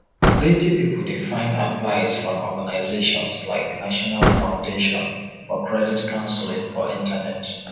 plenty pipu dey find advice from organizations like national foundation for credit counseling for internet